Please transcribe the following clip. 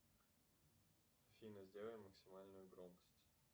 афина сделай максимальную громкость